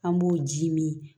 An b'o ji min